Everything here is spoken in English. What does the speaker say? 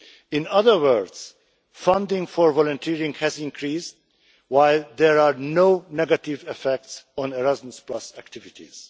In other words, funding for volunteering has increased while there are no negative effects on Erasmus activities.